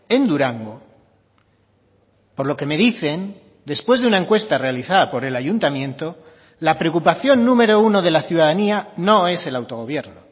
en durango por lo que me dicen después de una encuesta realizada por el ayuntamiento la preocupación número uno de la ciudadanía no es el autogobierno